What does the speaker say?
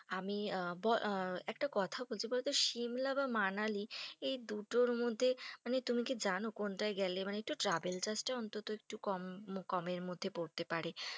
আমি আ ব~ একটা কথা বলছি সিমলা বা মানালি এই দুটোর মধ্যে, মানে তুমি কি জানো, কোনটাই গেলে একটু travel cost টা অন্তত একটু কম কমের মধ্যে পড়তে পারে,